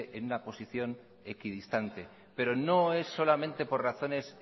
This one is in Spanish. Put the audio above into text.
en una posición equidistante pero no es solamente por razones